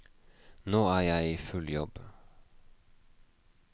Nå er jeg i full jobb.